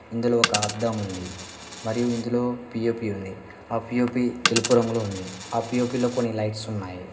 ఇందులో ఒక అద్దం ఉంది మరియు ఇందులో పిఓపి ఉంది ఆ పిఓపి తెలుగు రంగులో ఉంది ఆ పిఓపి లో కొన్ని లైట్స్ ఉన్నాయి.